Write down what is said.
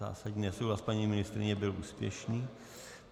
Zásadní nesouhlas paní ministryně byl úspěšný.